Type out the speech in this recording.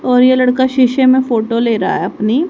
और यह लड़का शीशे में फोटो ले रहा है अपनी--